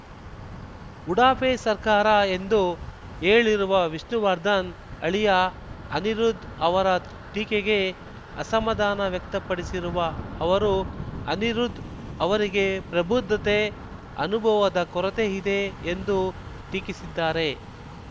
ಉಡಾಫೆ ಸರ್ಕಾರ ಎಂದು ಹೇಳಿರುವ ವಿಷ್ಣುವರ್ಧನ್‌ ಅಳಿಯ ಅನಿರುದ್ ಅವರ ಟೀಕೆಗೆ ಅಸಮಾಧಾನ ವ್ಯಕ್ತಪಡಿಸಿರುವ ಅವರು ಅನಿರುದ್ ಅವರಿಗೆ ಪ್ರಬುದ್ಧತೆ ಅನುಭವದ ಕೊರತೆ ಇದೆ ಎಂದು ಟೀಕಿಸಿದ್ದಾರೆ